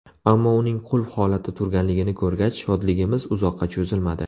Ammo uning qulf holatda turganligini ko‘rgach, shodligimiz uzoqqa cho‘zilmadi.